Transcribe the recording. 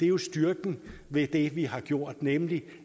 jo styrken ved det vi har gjort nemlig